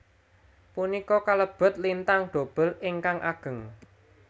Punika kalebet lintang dobel ingkang ageng